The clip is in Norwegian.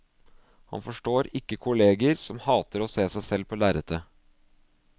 Han forstår ikke kolleger som hater å se seg selv på lerretet.